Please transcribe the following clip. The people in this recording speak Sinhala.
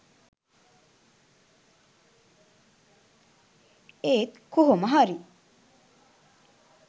ඒත් කොහොමහරි